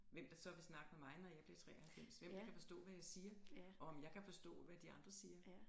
Hvem der så vil snakke med mig når jeg bliver 93 hvem kan forstå hvad jeg siger og om jeg kan forstå hvad de andre siger